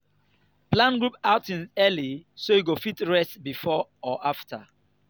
plan group outings early so you go fit rest before or after.